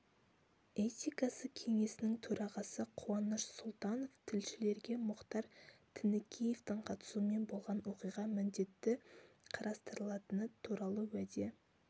этикасы кеңесінің төрағасы қуаныш сұлтанов тілшілерге мұхтар тінікеевтің қатысуымен болған оқиға міндетті қарастырылатыны туралы уәде